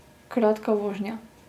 Kratka vožnja.